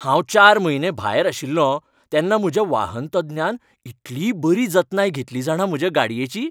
हांव चार म्हयने भायर आशिल्लों तेन्ना म्हज्या वाहन तज्ञान इतली बरी जतनाय घेतली जाणा म्हजे गाडयेची.